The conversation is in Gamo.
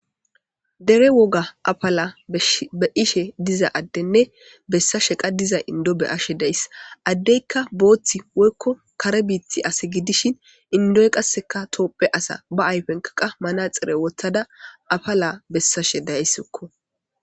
Dere woga apala be ishe diza addenne bessa sheqa diza indo be ashe days addeykka booththi woykko kare biiti ase gidishin indoy qasseka toopphe asa ba ayfenkaqa mana xire wottada apala bessashe daysikko.